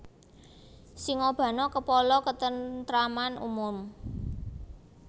Singabana Kepala ketenteraman umum